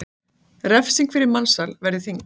Refsing fyrir mansal verði þyngd